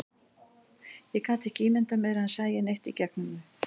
Ég gat ekki ímyndað mér að hann sæi neitt í gegnum þau.